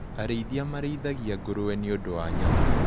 Arĩithia marĩithagia ngũrũwe nĩũndu wa nyama.